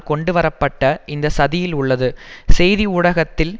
கொண்டு வரப்பட்ட இந்த சதியில் உள்ளது செய்தி ஊடகத்தில்